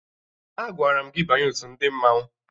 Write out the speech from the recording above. Agwara m gị banye otu ndị mmanwụ!